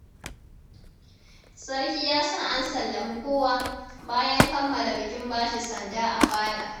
Sarki yasa an sallami kowa, bayan kammala bikin bashi sanda a fada.